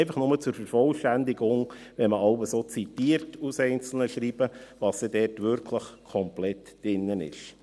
Dies einfach nur zur Vervollständigung, wenn man jeweils so aus einzelnen Schreiben zitiert, was dort wirklich komplett drin ist.